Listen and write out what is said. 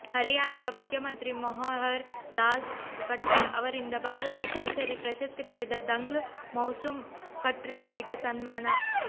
ಹರಿಯಾಣದ ಮುಖ್ಯಮಂತ್ರಿ ಮಹೋಹರ್ ಲಾಲ್ ಕಟ್ಟರ್ ಅವರಿಂದ ಭಾರತ ಕೇಸರಿ ಪ್ರಶಸ್ತಿ ಪಡೆದ ದಂಗ್ಲ್ ಮೌಸುಮ್ ಖಟ್ರಿ ಅವರಿಗೆ ಸನ್ಮಾನ